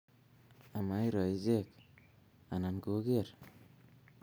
Amairo ichek anan koger